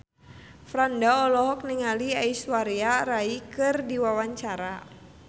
Franda olohok ningali Aishwarya Rai keur diwawancara